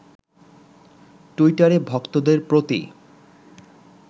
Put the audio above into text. টুইটারে ভক্তদের প্রতি